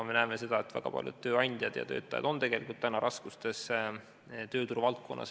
Me näeme seda, et väga paljud tööandjad ja töötajad on tööturuvaldkonnas raskustes.